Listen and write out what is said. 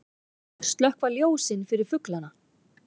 Slökkva ljósin fyrir fuglana